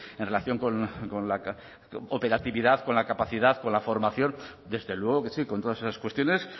en relación con la operatividad con la capacidad con la formación desde luego que sí con todas esas cuestiones